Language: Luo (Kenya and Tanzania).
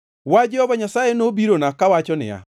Wach Jehova Nyasaye nobirona kawacho niya,